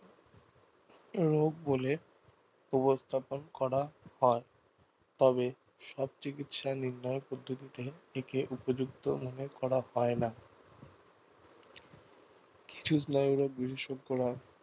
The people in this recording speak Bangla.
রোগ বলে উপস্থাপন করা হয় তবে সব চিকিৎসার নির্ণয় পদ্ধতিতে েকে উপযুক্ত মনে করা হয় না কিছু স্নায়ুরোগ বিশেষজ্ঞরা